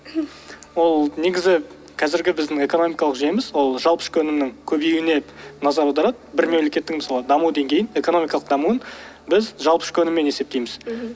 ол негізі қазіргі біздің экономикалық жеміс ол жалпы ішкі өнімнің көбеюіне назар аударады бір мемлекеттің мысалы даму деңгейін экономикалық дамуын біз жалпы ішкі өніммен есептейміз мхм